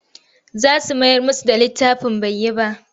Zan mayar musu da littafin bai yi ba.